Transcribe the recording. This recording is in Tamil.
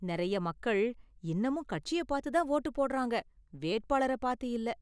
நிறைய மக்கள் இன்னமும் கட்சிய பார்த்து தான் வோட்டு போடுறாங்க, வேட்பாளர பார்த்து இல்ல.